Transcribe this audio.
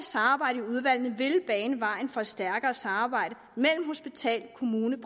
samarbejde i udvalgene ville bane vejen for et stærkere samarbejde mellem hospital kommune